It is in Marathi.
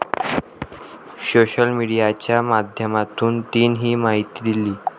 सोशल मीडियाच्या माध्यमातून तिनं ही माहिती दिली.